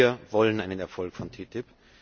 Wir wollen einen Erfolg von TTIP!